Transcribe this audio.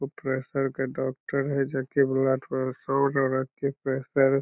उ प्रेशर के डॉक्टर हेय जे की ब्लड प्रेशर --